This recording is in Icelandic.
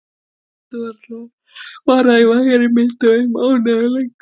Hún getur varað í vægari mynd í mánuð eða lengur.